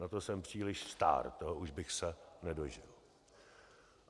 Na to jsem příliš stár, toho už bych se nedožil.